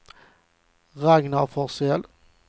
Ragnar Forsell